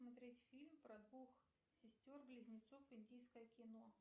смотреть фильм про двух сестер близнецов индийское кино